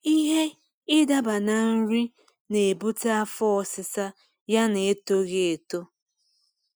ịhe idaba na nri na ebute afọ ọsisa ya na etoghi eto